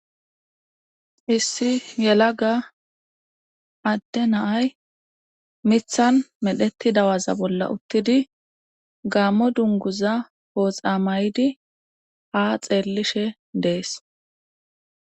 issi yelaga adde naay mithan medheti dawaza bolla uttidi gaammo dunguza pooxa maydi a xeellishe dees